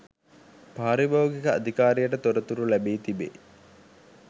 පාරිභෝගික අධිකාරියට තොරතුරු ලැබී තිබේ